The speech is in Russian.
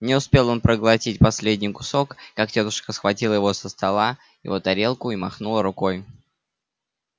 не успел он проглотить последний кусок как тётушка схватила его со стола его тарелку и махнула рукой